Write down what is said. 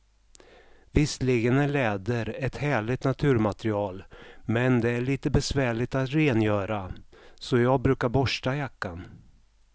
Visserligen är läder ett härligt naturmaterial, men det är lite besvärligt att rengöra, så jag brukar borsta jackan.